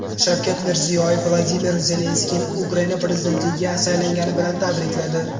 Shavkat Mirziyoyev Vladimir Zelenskiyni Ukraina prezidentligiga saylangani bilan tabrikladi.